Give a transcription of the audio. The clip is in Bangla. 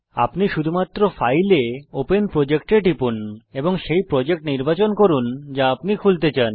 আপনি শুধুমাত্র ফাইল এ ওপেন প্রজেক্ট এ টিপুন এবং সেই প্রজেক্ট নির্বাচন করুন যা আপনি খুলতে চান